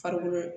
Farikolo